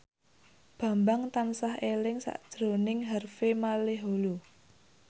Bambang tansah eling sakjroning Harvey Malaiholo